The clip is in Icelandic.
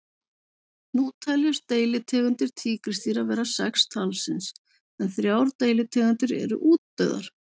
Nú teljast deilitegundir tígrisdýra vera sex talsins en þrjár deilitegundir eru útdauðar.